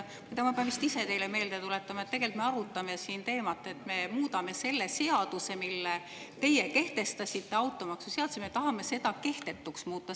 Vaat, ma pean vist teile meelde tuletama, et tegelikult me arutame siin seda teemat, et me tahame seda seadust, mille teie kehtestasite, automaksuseadust, kehtetuks muuta.